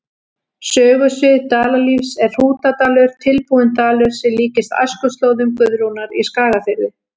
Sögusvið Dalalífs er Hrútadalur, tilbúinn dalur sem líkist æskuslóðum Guðrúnar í Skagafirði.